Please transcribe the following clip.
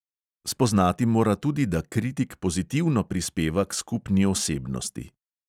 Spoznati mora tudi, da kritik pozitivno prispeva k skupni osebnosti.